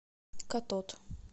катод